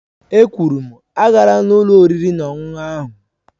È kwụrụ m, aagala ụlọ oriri na ọṅụṅụ ahụ!